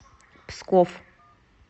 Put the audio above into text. псков